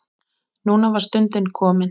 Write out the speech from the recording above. Núna var stundin komin.